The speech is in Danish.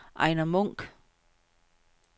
Ejner Munk